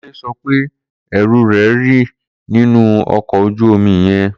Kunle sọ pe ẹru rẹ rì ninu ọkọ oju omi yẹn.